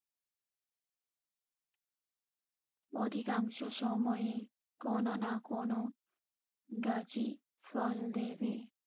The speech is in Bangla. অধিকাংশ সময়ে কোনো না কোনো গাছই ফল দেবে।